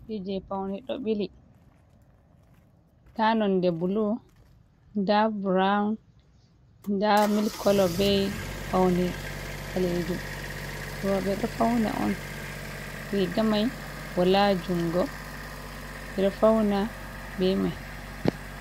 Nda hunde paune, nda nonde bulu, nda brown, nda mil kolo be paune ɓalejum, roɓe ɗo fauna on riga mai wala jungo ɗo fauna be mai.